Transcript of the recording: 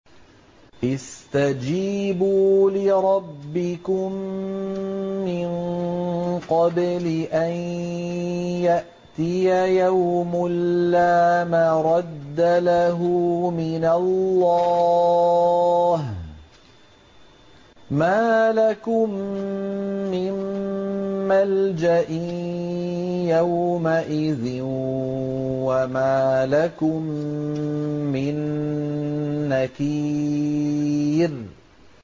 اسْتَجِيبُوا لِرَبِّكُم مِّن قَبْلِ أَن يَأْتِيَ يَوْمٌ لَّا مَرَدَّ لَهُ مِنَ اللَّهِ ۚ مَا لَكُم مِّن مَّلْجَإٍ يَوْمَئِذٍ وَمَا لَكُم مِّن نَّكِيرٍ